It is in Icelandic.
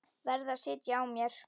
Varð að sitja á mér.